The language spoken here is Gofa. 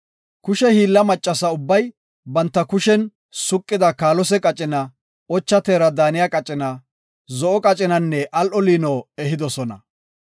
Kushe hiilla maccasa ubbay banta kushen suqida kaalose qacina, ocha teera daaniya qacina, zo7o qacinanne al7o liino ehidosona.